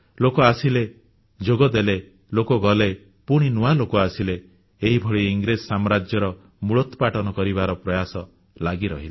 ଲୋକ ଆସିଲେ ଯୋଗଦେଲେ ଲୋକ ଗଲେ ପୁଣି ନୂଆ ଲୋକ ଆସିଲେ ଏହିଭଳି ଇଂରେଜ ସାମ୍ରାଜ୍ୟର ମୂଳୋତ୍ପାଟନ କରିବାର ପ୍ରୟାସ ଲାଗି ରହିଲା